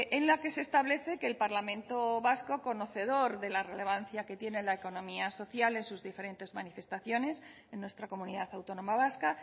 en la que se establece que el parlamento vasco conocedor de la relevancia que tiene la economía social en sus diferentes manifestaciones en nuestra comunidad autónoma vasca